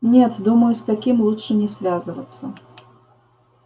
нет думаю с таким лучше не связываться